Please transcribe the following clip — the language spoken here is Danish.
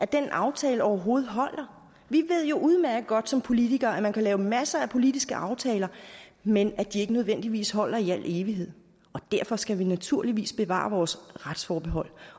den aftale overhovedet holder vi ved jo udmærket godt som politikere at man kan lave masser af politiske aftaler men at de ikke nødvendigvis holder i al evighed derfor skal vi naturligvis bevare vores retsforbehold